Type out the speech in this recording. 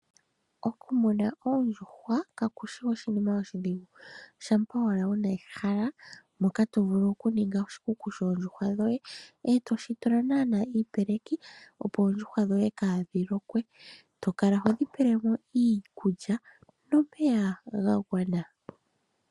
Okumuna oondjuhwa, kaku shi oshinima oshidhigu. Shampa owala wu na ehala moka to vulu okuninga oshikuku shoondjuhwa dhoye, e to shi tula naanaa iipeleki, opo oondjuhwa dhoye kaadhi lokwe. To kala ho dhi pele mo iikulya nomeya ga gwana.